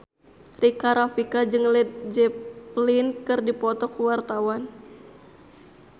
Rika Rafika jeung Led Zeppelin keur dipoto ku wartawan